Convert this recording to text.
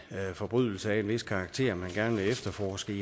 forbrydelse af en vis karakter man gerne vil efterforske